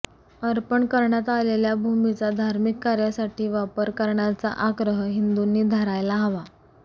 अर्पण करण्यात आलेल्या भूमीचा धार्मिक कार्यासाठी वापर करण्याचा आग्रह हिंदूंनी धरायला हवा